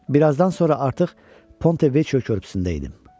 Bir azdan sonra artıq Pontevechio körpüsündə idim.